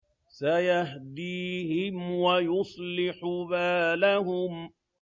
سَيَهْدِيهِمْ وَيُصْلِحُ بَالَهُمْ